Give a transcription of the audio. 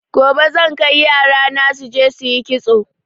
Gobe zan kai yarana suje suyi kitso